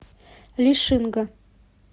лишинга